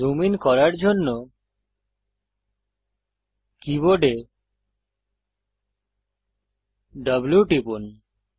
zoom in করার জন্য কীবোর্ডে W টিপুন